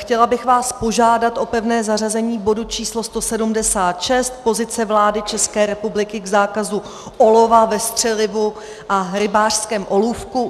Chtěla bych vás požádat o pevné zařazení bodu číslo 176, Pozice vlády České republiky k zákazu olova ve střelivu a rybářském olůvku.